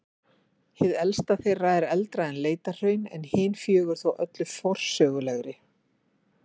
Hið elsta þeirra er eldra en Leitahraun en hin fjögur þó öll forsöguleg.